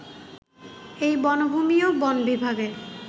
এই বনভূমিও বন বিভাগের